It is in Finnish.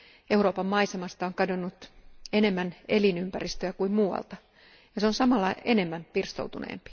Euroopan maisemasta on kadonnut enemmän elinympäristöä kuin muualta ja se on samalla enemmän pirstoutunut.